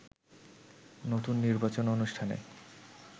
নতুন নির্বাচন অনুষ্ঠানে